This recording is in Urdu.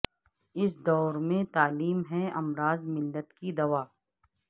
اس دور میں تعلیم ہے امراض ملت کی دوا